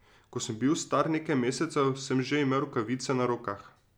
Ko sem bil star nekaj mesecev, sem že imel rokavice na rokah.